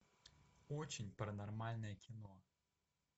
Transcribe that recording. очень паранормальное кино